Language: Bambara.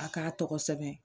A k'a tɔgɔ sɛbɛn